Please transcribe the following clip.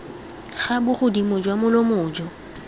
ga bogodimo jwa molomo jo